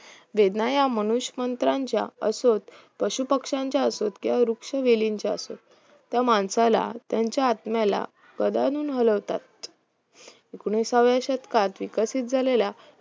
वेदना ह्या मनुष्यमंत्राच्या असोत पशुपक्ष्यांच्या असोत किंवा वृक्षवेलीनच्या असोत त्या माणसाला त्यांच्या आत्म्याला गदादून हलवतात एकोणिसाव्या शतकात विकसित झालेल्या